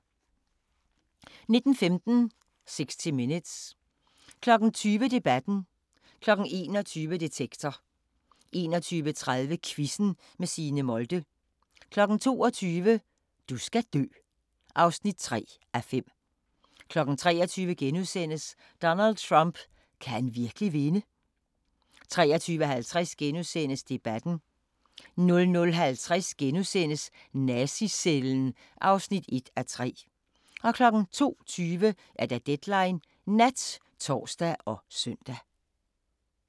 19:15: 60 Minutes 20:00: Debatten 21:00: Detektor 21:30: Quizzen med Signe Molde 22:00: Du skal dø (3:5) 23:00: Donald Trump – kan han virkelig vinde? * 23:50: Debatten * 00:50: Nazi-cellen (1:3)* 02:20: Deadline Nat (tor og søn)